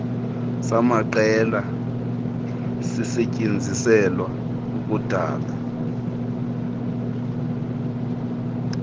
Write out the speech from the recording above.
samajelo sisetyenziselwa ukudala